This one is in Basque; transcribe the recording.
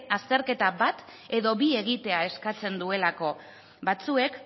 azterketa bat edo bi egitea eskatzen duelako batzuek